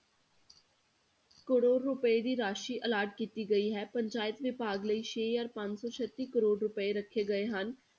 ਕਰੌੜ ਰੁਪਏ ਦੀ ਰਾਸ਼ੀ allot ਕੀਤੀ ਗਈ ਹੈ, ਪੰਚਾਇਤ ਵਿਭਾਗ ਲਈ ਛੇ ਹਜ਼ਾਰ ਪੰਜ ਸੌ ਛੱਤੀ ਕਰੌੜ ਰੁਪਏ ਰੱਖੇ ਗਏ ਹਨ।